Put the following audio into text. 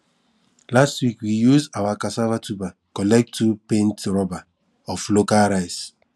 last week we use our cassava tuber collect two paint rubber of local rice